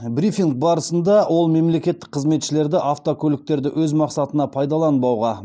брифинг барысында ол мемлекеттік қызметшілерді автокөліктерді өз мақсатына пайдаланбауға